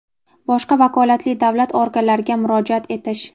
boshqa vakolatli davlat organlariga murojaat etish;.